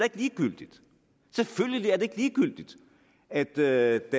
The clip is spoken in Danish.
ligegyldigt selvfølgelig er det ikke ligegyldigt at der